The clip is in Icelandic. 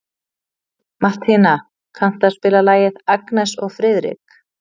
Mattína, kanntu að spila lagið „Agnes og Friðrik“?